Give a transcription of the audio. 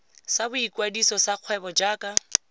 sa boikwadiso sa kgwebo jaaka